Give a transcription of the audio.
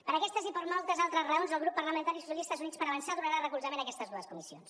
per aquestes i per moltes altres raons el grup parlamentari socialistes i units per avançar donarà recolzament a aquestes dues comissions